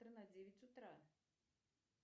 тр на девять утра